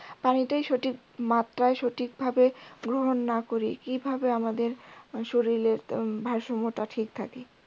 পানিটাই সঠিক মাত্রায় সঠিক ভাবে গ্রহন না করি কিভাবে আমাদের শরীরের ভারসাম্য টা ঠিক থাকে